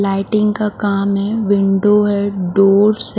lighting का काम है विंडो है डोर्स --